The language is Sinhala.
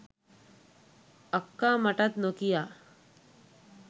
අක්කා මටත් නොකියා